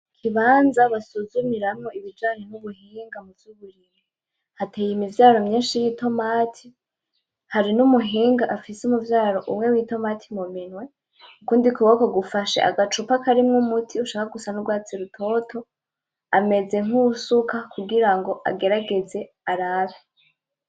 Ikibanza basuzumiramwo ibijanye n'ubuhinga muvy'uburimyi. Hateye imivyaro myinshi y'itomati, hari n'umuhinga afise umuvyaro umwe w'itomati mu minwe. Ukundi kuboko gufashe agacupa karimwo umuti usa n'urwatsi rutoto, ameze nkuwusuka kugira agerageze arabe.